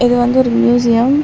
இது வந்து ஒரு மியூசியம் .